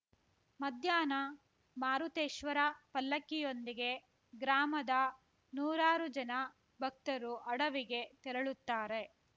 ಮಧ್ಯಾಹ್ನ ಮಾರುತೇಶ್ವರ ಪಲ್ಲಕ್ಕಿಯೊಂದಿಗೆ ಗ್ರಾಮದ ನೂರಾರು ಜನ ಭಕ್ತರು ಅಡವಿಗೆ ತೆರಳುತ್ತಾರೆ